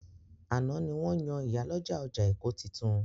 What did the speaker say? Àná ni wọ́n yan ìyálọ́jà ọjà Èkó titun.